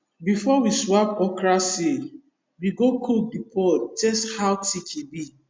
before we swap okra seed we go cook the pod taste how thick e be